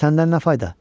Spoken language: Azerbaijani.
Səndən nə fayda?